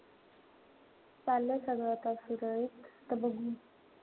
सगळं आता सुरळीत. आता बघू.